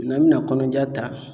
N'an bɛna kɔnɔnaja ta